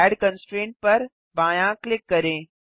add constraint पर बायाँ click करें